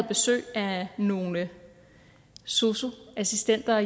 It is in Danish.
besøg af nogle sosu assistenter